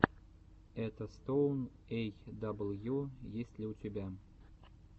этостоун эй дабл ю есть ли у тебя